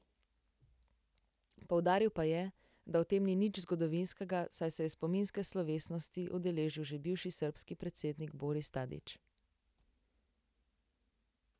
Poudaril pa je, da v tem ni nič zgodovinskega, saj se je spominske slovesnosti udeležil že bivši srbski predsednik Boris Tadić.